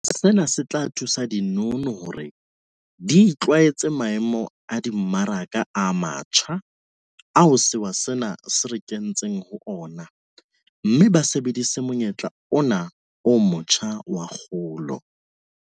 Sena se tla thusa dinono hore di itlwaetse maemo a dimmaraka a matjha ao sewa sena se re kentseng ho ona mme ba sebedise monyetla ona o motjha wa kgolo.